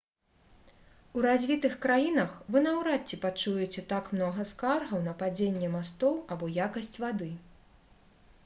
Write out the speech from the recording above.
у развітых краінах вы наўрад ці пачуеце так многа скаргаў на падзенне мастоў або якасць вады